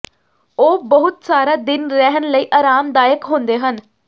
ਉਹ ਬਹੁਤ ਸਾਰਾ ਦਿਨ ਰਹਿਣ ਲਈ ਆਰਾਮਦਾਇਕ ਹੁੰਦੇ ਹਨ